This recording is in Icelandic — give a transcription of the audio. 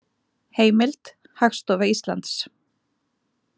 Heimild: Hagstofa Íslands.